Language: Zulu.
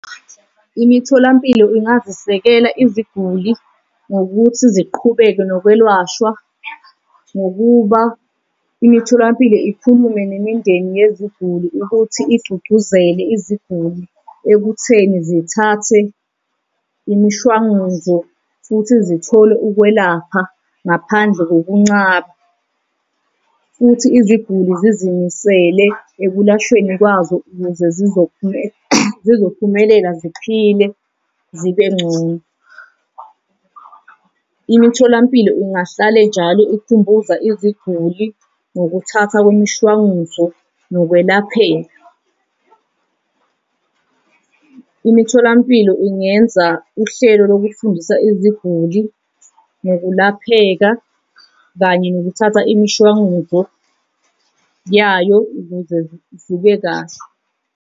Imitholampilo ingazisekela iziguli ngokuthi ziqhubeke nokwelashwa ngokuba imitholampilo ikhulume nemindeni yeziguli ukuthi igcugcuzele iziguli ekutheni zithathe imishwanguzo futhi zithole ukwelapha ngaphandle kokuncaba. Futhi iziguli zizimisele ekulashweni kwazo ukuze zizophume zizophumelela ziphile zibe ngcono. Imitholampilo ingahlale njalo ikhumbuza iziguli ngokuthatha kwemishwanguzo nokwelapheka. Imitholampilo ingenza uhlelo lokufundisa iziguli nokulapheka kanye nokuthatha imishwanguzo yayo ukuze zibe kahle.